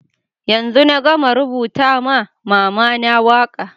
Yanzun na gama rubuta ma mama na waka.